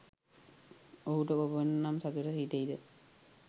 ඔහුට කොපමණ නම් සතුටු හිතෙයිද?